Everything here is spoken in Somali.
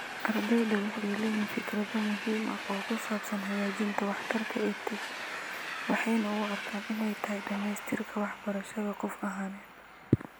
Ardeydu waxay leeyihiin fikrado muhiim ah oo ku saabsan hagaajinta waxtarka EdTech waxayna u arkaan inay tahay dhammaystirka waxbarashada qof ahaaneed .